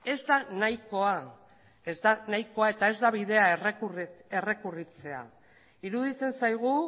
ez da nahikoa ez da nahikoa eta ez da bidea errekurritzea iruditzen zaigu